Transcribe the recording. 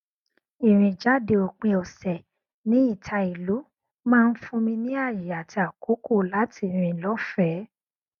ìrìn jáde òpin ọsẹ ní ìta ìlú maá n fún mi ní ààyè àti àkókò láti rìn lọfẹẹ